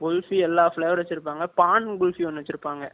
kulfi எல்லாம் flavor வச்சி இருப்பாங்க பான் kulfi ஒன்னு வச்சிருப்பாங்க